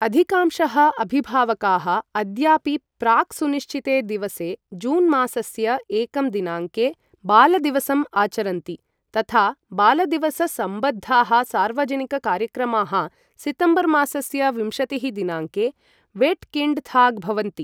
अधिकांशः अभिभावकाः अद्यापि प्राक् सुनिश्चिते दिवसे जून् मासस्य एकं दिनाङ्के बालदिवसम् आचरन्ति, तथा बालदिवससम्बद्धाः सार्वजनिक कार्यक्रमाः सितम्बर् मासस्य विंशतिः दिनाङ्के वेट्किङ्डथाग् भवन्ति।